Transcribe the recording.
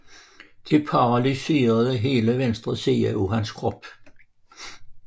Det paralyserede hele venstre side af hans krop